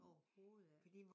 Overhovedet ikke